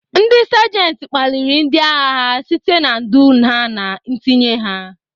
Ndị Sajenta kpaliri ndị agha ha site na ndu ha na ntinye ha..